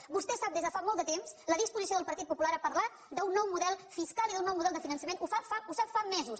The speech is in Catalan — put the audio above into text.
vostè sap des de fa molt de temps la disposició del partit popular a parlar d’un nou model fiscal i d’un nou model de finançament ho sap fa mesos